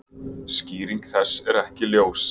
Skýring þess er ekki ljós.